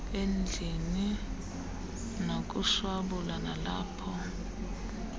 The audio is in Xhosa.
endlini nakushwabula nilapho